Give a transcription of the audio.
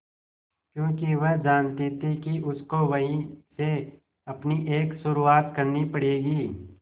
क्योंकि वह जानती थी कि उसको वहीं से अपनी एक शुरुआत करनी पड़ेगी